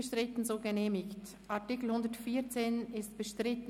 Der Artikel 114 ist bestritten.